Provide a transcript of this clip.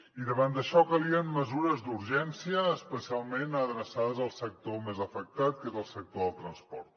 i davant d’això calien mesures d’urgència especialment adreçades al sector més afectat que és el sector del transport